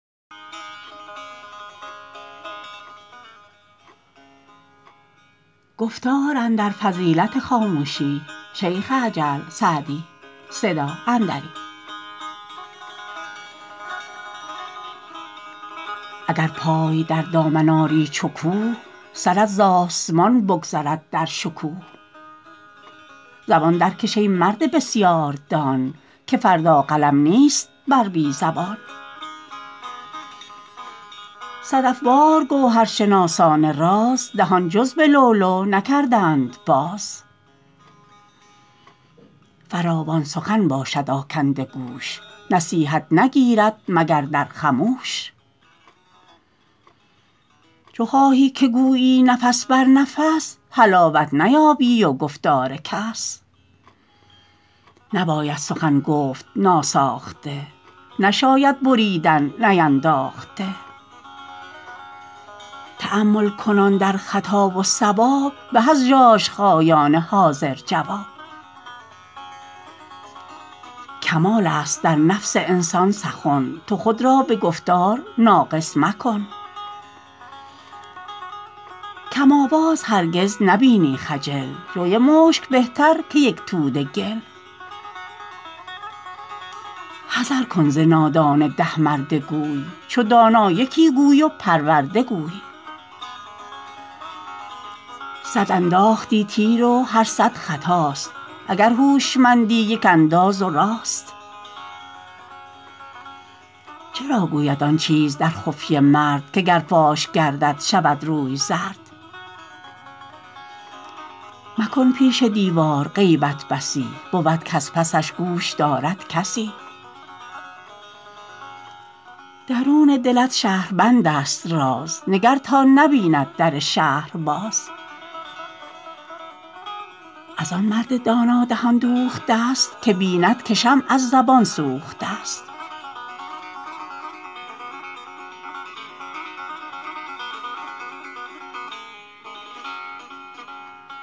اگر پای در دامن آری چو کوه سرت ز آسمان بگذرد در شکوه زبان درکش ای مرد بسیار دان که فردا قلم نیست بر بی زبان صدف وار گوهرشناسان راز دهان جز به لؤلؤ نکردند باز فراوان سخن باشد آکنده گوش نصیحت نگیرد مگر در خموش چو خواهی که گویی نفس بر نفس حلاوت نیابی ز گفتار کس نباید سخن گفت ناساخته نشاید بریدن نینداخته تأمل کنان در خطا و صواب به از ژاژخایان حاضر جواب کمال است در نفس انسان سخن تو خود را به گفتار ناقص مکن کم آواز هرگز نبینی خجل جوی مشک بهتر که یک توده گل حذر کن ز نادان ده مرده گوی چو دانا یکی گوی و پرورده گوی صد انداختی تیر و هر صد خطاست اگر هوشمندی یک انداز و راست چرا گوید آن چیز در خفیه مرد که گر فاش گردد شود روی زرد مکن پیش دیوار غیبت بسی بود کز پسش گوش دارد کسی درون دلت شهربند است راز نگر تا نبیند در شهر باز از آن مرد دانا دهان دوخته است که بیند که شمع از زبان سوخته است